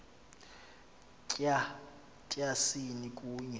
tya tyasini kunye